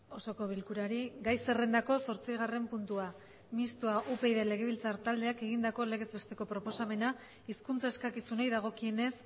osoko bilkurari gai zerrendako zortzigarren puntua mistoa upyd legebiltzar taldeak egindako legez besteko proposamena hizkuntza eskakizunei dagokienez